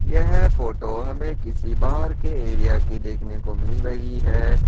यह फोटो हमे किसी बहार के एरिया की देखने को मिल रही है।